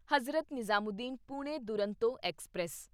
Hazrat Nizamuddin Pune Duronto express